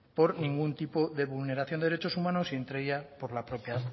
por ningún tipo de vulneración de derechos humanos y entre ella por la propia